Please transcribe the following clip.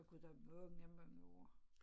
Jeg har gået der i mange mange år